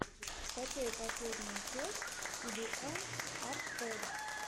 скачай последнюю часть ти би эн ар фрэгс